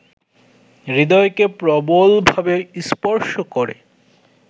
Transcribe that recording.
হৃদয়কে প্রবলভাবে স্পর্শ করে